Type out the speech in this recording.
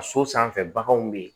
A so sanfɛ baganw be yen